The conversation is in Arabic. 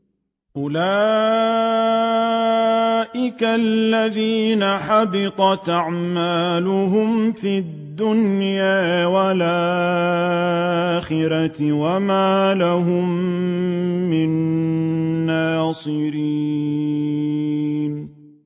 أُولَٰئِكَ الَّذِينَ حَبِطَتْ أَعْمَالُهُمْ فِي الدُّنْيَا وَالْآخِرَةِ وَمَا لَهُم مِّن نَّاصِرِينَ